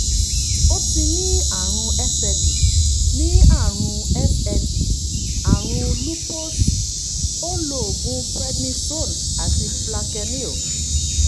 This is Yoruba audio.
ó ti ní àrùn sle ní àrùn sle àrùn lúpọ́ọ̀sì ó ń lo oògùn prednisone àti plaquenil